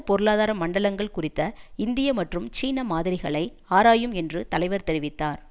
பொருளாதார மண்டலங்கள் குறித்த இந்திய மற்றும் சீன மாதிரிகளை ஆராயும் என்று தலைவர் தெரிவித்தார்